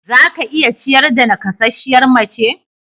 Za ka iya ciyar da naƙasasshiyar mace.